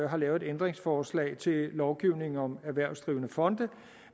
har lavet et ændringsforslag til lovgivningen om erhvervsdrivende fonde